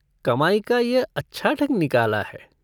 कमाई का यह अच्छा ढंग निकाला है।